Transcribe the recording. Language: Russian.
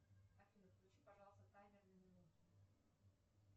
афина включи пожалуйста таймер на минуту